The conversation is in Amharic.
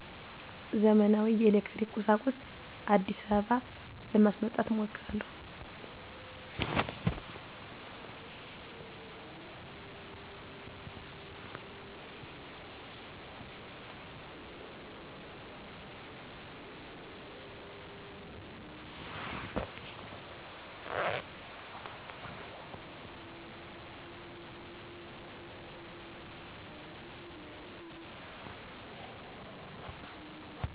ዘመናዊ የኤሌክትሪክ ቁሣቁሥ። አዲስአበባ ለማስመጣት እሞክራለሁ።